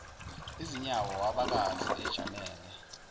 izinyawo wabakaza ejamele